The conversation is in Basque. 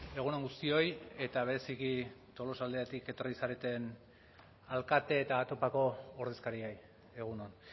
egun on guztioi eta bereziki tolosaldeatik etorri zareten alkate eta topako ordezkariei egun on